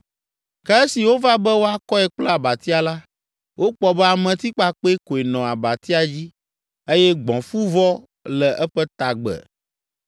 Ke esi wova be woakɔe kple abatia la, wokpɔ be ametikpakpɛ koe nɔ abatia dzi eye gbɔ̃fuvɔ le eƒe tagbe.